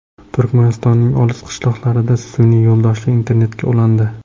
Turkmanistonning olis qishloqlari sun’iy yo‘ldoshli internetga ulandi.